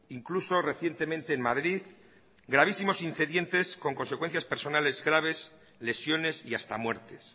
incluso recientemente en madrid gravísimos incidentes con consecuencias personales graves lesiones y hasta muertes